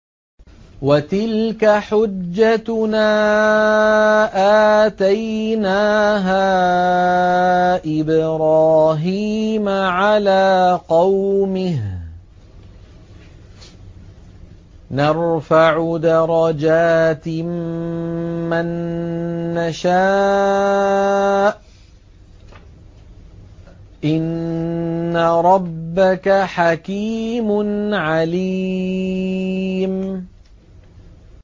وَتِلْكَ حُجَّتُنَا آتَيْنَاهَا إِبْرَاهِيمَ عَلَىٰ قَوْمِهِ ۚ نَرْفَعُ دَرَجَاتٍ مَّن نَّشَاءُ ۗ إِنَّ رَبَّكَ حَكِيمٌ عَلِيمٌ